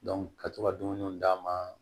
ka to ka dumuniw d'a ma